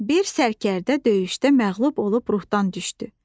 Bir sərkərdə döyüşdə məğlub olub ruhdan düşdü.